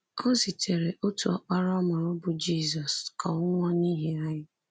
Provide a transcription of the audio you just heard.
O zitere otu ọkpara ọ mụrụ, bụ Jizọs, ka ọ nwụọ n’ihi anyị.